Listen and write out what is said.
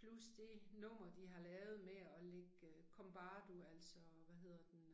Plus det nummer de har lavet med og lægge øh Kombardo altså hvad hedder den